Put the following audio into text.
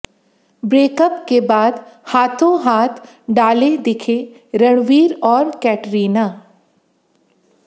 breakup के बाद हाथों हाथ डाले दिखे रणबीर और कैटरीना